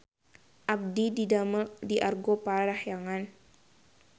Abdi didamel di Argo Parahyangan